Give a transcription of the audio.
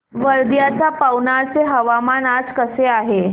वर्ध्याच्या पवनार चे हवामान आज कसे आहे